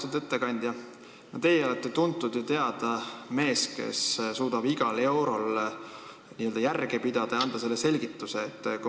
Austatud ettekandja, te olete tuntud ja teada mees, kes suudab iga euro kasutamisel järge pidada ja asju selgitada.